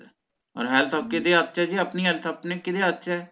ਓਰ health ਹੋਰ ਕਿਦੇ ਹੱਥ ਚ ਜੀ ਆਪਣੀ health ਆਪਣੇ ਕਿਦੇ ਹੱਥ ਚ ਹੈ